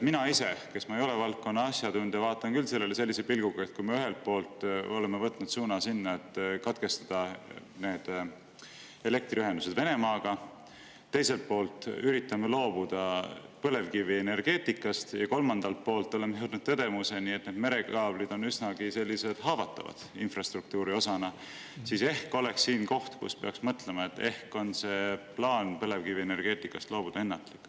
Mina ise, kes ma ei ole valdkonna asjatundja, vaatan küll sellele sellise pilguga, et kui me ühelt poolt oleme võtnud suuna sellele, et katkestame elektriühenduse Venemaaga, teiselt poolt üritame loobuda põlevkivienergeetikast ja kolmandalt poolt oleme jõudnud tõdemuseni, et merekaablid on infrastruktuuri osana üsnagi haavatavad, siis ehk oleks siin koht, kus peaks mõtlema, et plaan põlevkivienergeetikast loobuda on ennatlik.